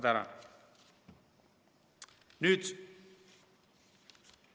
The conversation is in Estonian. Tänan!